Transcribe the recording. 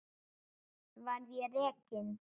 Verð ég rekinn?